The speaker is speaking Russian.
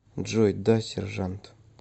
джой да сержант